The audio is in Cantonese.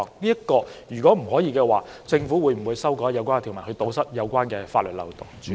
如果不能，政府會否修改有關條文，以堵塞有關的法律漏洞？